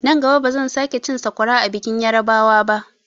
Nan gaba bazan sake cin sakwara a bikin yarbawa ba.